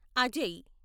Ajay